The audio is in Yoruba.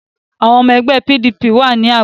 Àwọn ọmọ ẹgbẹ́ PDP wà ní Àbújá